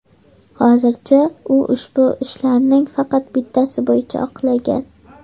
Hozircha u ushbu ishlarning faqat bittasi bo‘yicha oqlangan.